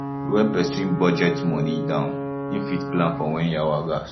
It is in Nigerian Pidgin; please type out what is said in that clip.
when person budget money down im fit plan for when yawa gas